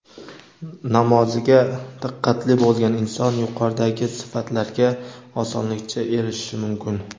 namoziga diqqatli bo‘lgan inson yuqoridagi sifatlarga osonlikcha erishishi mumkin.